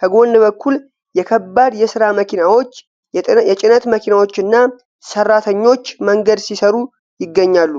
ከጎን በኩል የከባድ የሥራ መኪናዎች፣ የጭነት መኪናዎችና ሠራተኞች መንገድ ሲሠሩ ይገኛሉ።